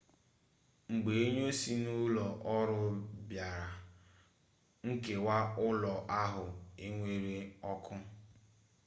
mgbe onye si n'ụlọ ọrụ bịara nkewa ụlọ ahụ enwuru ọkụ